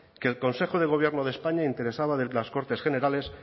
que el consejo de gobierno de españa interesaba de las cortes generales